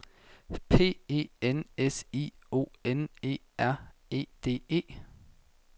P E N S I O N E R E D E